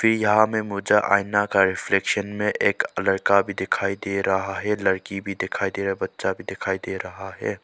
यहां में मुझे आईना का रिफ्लेक्शन में एक लड़का भी दिखाई दे रहा है लड़की भी दिखाई दे रही बच्चा भी दिखाई दे रहा है।